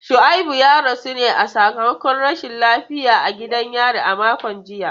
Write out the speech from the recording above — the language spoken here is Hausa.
Shuaibu ya rasu ne sakamakon rashin lafiya a gidan yari a makon jiya.